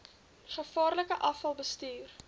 gevaarlike afval bestuur